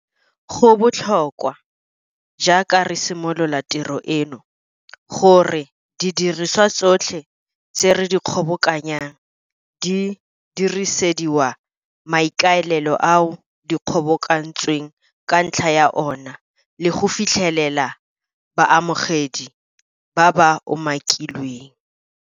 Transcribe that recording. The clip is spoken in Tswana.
Go tla nna botlhokwa, jaaka re simolola tiro eno, gore didiriswa tsotlhe tse re di kgobokanyang di diresediwa maikaelelo ao di kgobokantsweng ka ntlha ya ona le go fitlhelela baamogedi ba ba umakilweng.